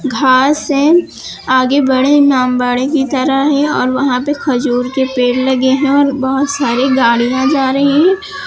घास है आगे बड़े इमामबाड़े की तरह है और वहां पे खजूर के पेड़ लगे हैं और बहोत सारी गाड़िया जा रही --